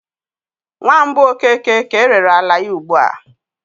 Nwa mbụ Okeke ka erere ala ya ugbu a.